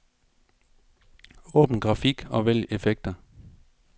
Åbn grafik og vælg effekter.